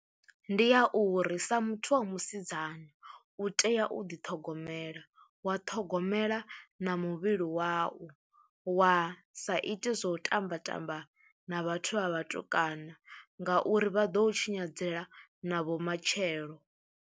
Ndi ya u uri sa muthu wa musidzana u tea u ḓiṱhogomela, wa ṱhogomela na muvhili wau wa sa ite zwa u tamba tamba na vhathu vha vhatukana ngauri vha ḓo tshinyadzela na vhomatshelo.